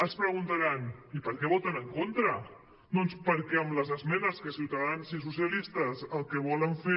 es preguntaran i per què voten en contra doncs perquè amb les esmenes que ciutadans i socialistes el que volen fer